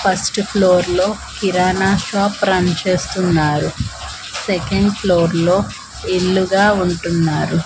First floor లో kirana shop run చేస్తున్నారు second floor లో ఇల్లుగా ఉంటున్నారు.